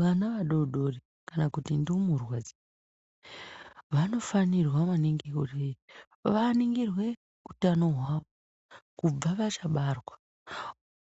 Vana vadodori kana kuti ndumurwe vanofanirwa maningi kuti vaningirwe hutano hwavo kubva vachabarwa